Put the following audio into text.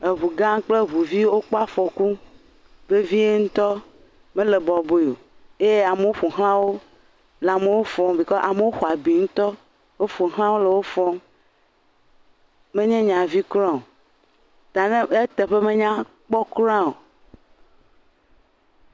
Eŋu gã kple eŋuvi wokpɔ afɔku vevie ŋutɔ, mele bɔbɔe o, amewo le amewo fɔm, bikɔ amewo xɔ abi ŋutɔ, wo ƒoxla le amewo fɔm, menye nya vi kura o, ta ne ..eteƒe menya kpɔ kura o.